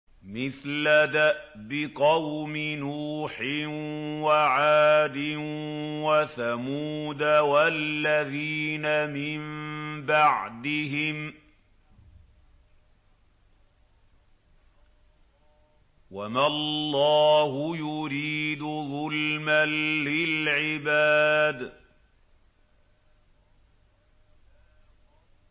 مِثْلَ دَأْبِ قَوْمِ نُوحٍ وَعَادٍ وَثَمُودَ وَالَّذِينَ مِن بَعْدِهِمْ ۚ وَمَا اللَّهُ يُرِيدُ ظُلْمًا لِّلْعِبَادِ